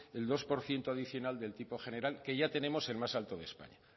el dos por ciento adicional del tipo general que ya tenemos el más alto de españa